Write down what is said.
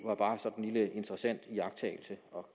var bare sådan en lille interessant iagttagelse